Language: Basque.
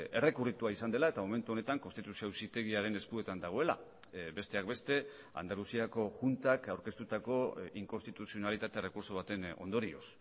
errekurritua izan dela eta momentu honetan konstituzio auzitegiaren eskuetan dagoela besteak beste andaluziako juntak aurkeztutako inkonstituzionalitate errekurtso baten ondorioz